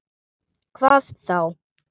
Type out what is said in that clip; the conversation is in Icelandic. Hvað þá?